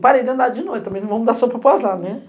Parei de andar de noite também, não vamo dar sopa para o azar, não é?